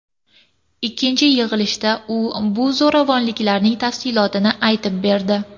Ikkinchi yig‘ilishda u bu zo‘ravonliklarning tafsilotlarini aytib berdi.